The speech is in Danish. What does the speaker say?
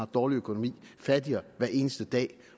dårlig økonomi fattigere hver eneste dag